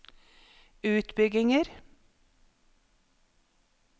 utbygginger